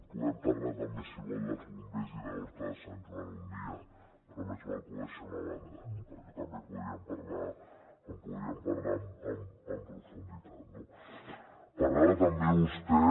podem parlar també si vol dels bombers i d’horta de sant joan un dia però més val que ho deixem a banda perquè també en podríem parlar en profunditat no parlava també vostè